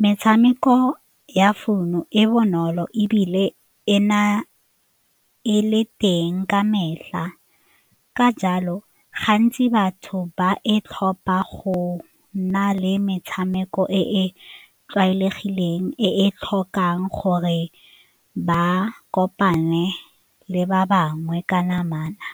metshameko ya founu e bonolo ebile e na e le teng ka metlha, ka jalo, gantsi batho ba e tlhopha go na le metshameko e e tlwaelegileng e tlhokang gore ba kopane le ba bangwe ka namana.